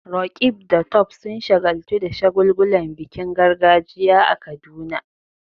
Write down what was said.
Roqeeb da Tope sun shagaltu da shagulgulan bikin gargajiya a Kaduna.